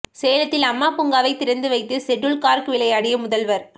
சேலத்தில் அம்மா பூங்காவை திறந்து வைத்து ஷட்டுல் கார்க் விளையாடிய முதல்வர்